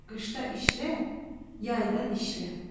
Qışda işlə, yayda dişlə.